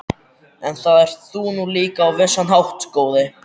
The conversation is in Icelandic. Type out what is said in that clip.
En það ert þú nú líka á vissan hátt, góði